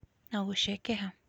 na gũcekeha.